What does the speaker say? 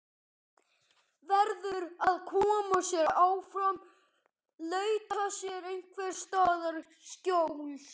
Verður að koma sér áfram, leita sér einhvers staðar skjóls.